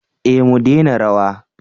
eh mu dena rawa